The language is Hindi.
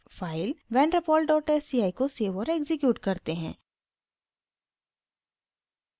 file vander pol dot sci को सेव और एक्सिक्यूट करते हैं